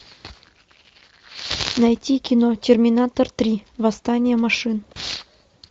найти кино терминатор три восстание машин